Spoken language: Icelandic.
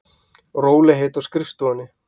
Rólegheit á skrifstofunni.